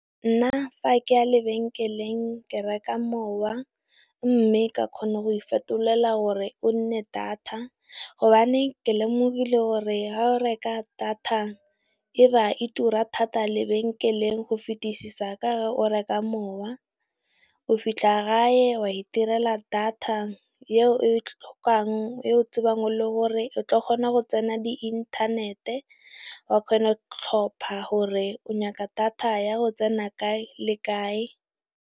Nna fa ke ya lebenkeleng ke reka mowa mme ka kgona go ifetolela gore o nne data, gobane ke lemogile gore ga o reka data e ba tura thata lebenkeleng go fetisisa ka o reka mowa. O fitlha gae wa itirela data eo tlhokang, eo tsebang le gore o tla kgona go tsena di inthanete, wa kgona tlhopha gore o nyaka data ya go tsena kae le kae.